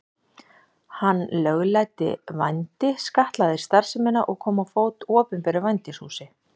Hann lögleiddi vændi, skattlagði starfsemina og kom á fót opinberu vændishúsi.